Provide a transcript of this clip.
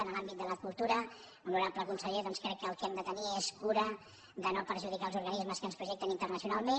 en l’àmbit de la cultura honorable conseller crec que el que hem de tenir és cura de no perjudicar els organismes que ens projecten internacionalment